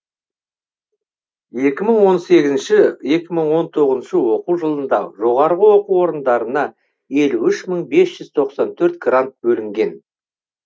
екі мың он сегізінші екі мың он тоғызыншы оқу жылында жоғарғы оқу орындарына елу үш мың бес жүз тоқсан төрт грант бөлінген